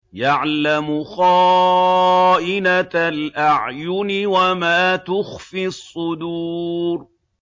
يَعْلَمُ خَائِنَةَ الْأَعْيُنِ وَمَا تُخْفِي الصُّدُورُ